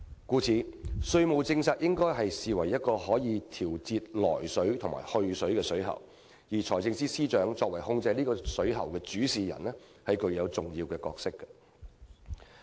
故此，稅務政策應被視為一個可以調節"來水"和"去水"的水喉，而財政司司長作為控制這個水喉的主事人，具有重要角色。